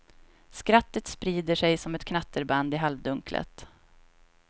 Skrattet sprider sig som ett knatterband i halvdunklet.